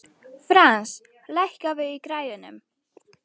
Frans, lækkaðu í græjunum.